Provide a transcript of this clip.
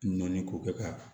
Nɔɔni k'o kɛ k'a ban